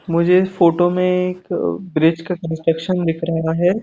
मुझे फोटो में एक ब्रिज का कंस्ट्रक्शन दिख रहा है।